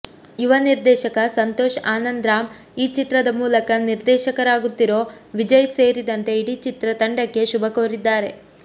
ಯುವ ನಿರ್ದೇಶಕ ಸಂತೋಷ್ ಆನಂದ್ರಾಮ್ ಈ ಚಿತ್ರದ ಮೂಲಕ ನಿರ್ದೇಶಕರಾಗುತ್ತಿರೋ ವಿಜಯ್ ಸೇರಿದಂತೆ ಇಡೀ ಚಿತ್ರ ತಂಡಕ್ಕೆ ಶುಭ ಕೋರಿದ್ದಾರೆ